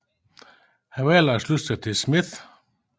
Han valgte at slutte sig til Smith